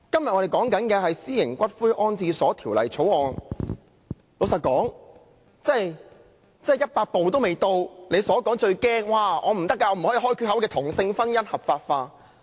我們今天辯論的是《私營骨灰安置所條例草案》，老實說，真的再走一百步也未到他害怕的打開缺口令同性婚姻合法化。